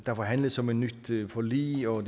der forhandles om et nyt forlig og at